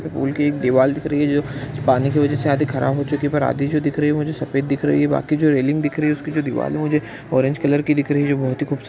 pool की एक दीवार दिख रही हैजो पानी की वजह से आधी खराब हो चुकी है पर आधी जो दिख रही है मुझे सफेद दिख रही है बाकी जो रेलिंग दिख रही है उसकी जो दीवाल हैजो मुझे ऑरेंज कलर की दिख रही है बहुत ही खूबसूरत--